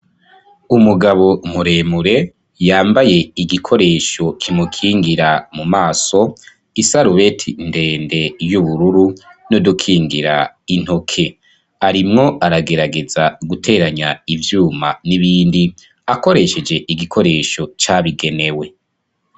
Umugabo muremure yambaye igikoresho kimukingira mu maso, isarubeti ndende y'ubururu, n'udukingira intoke, arimwo aragerageza guteranya ivyuma n'ibindi akoresheje igikoresho cabigenewe.